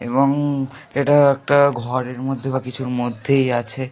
এবং এটা একটা ঘরের মধ্যে বা কিছুর মধ্যেই আছে।